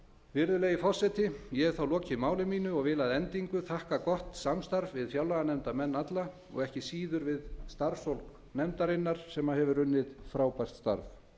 virðulegi forseti ég hef þá lokið máli mínu og vil að endingu þakka gott samstarf við fjárlaganefndarmenn alla og ekki síður við starfsfólk nefndarinnar sem hefur unnið frábært starf